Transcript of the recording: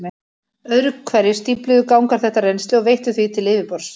Öðru hverju stífluðu gangar þetta rennsli og veittu því til yfirborðs.